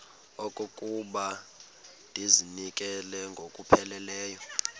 okokuba ndizinikele ngokupheleleyo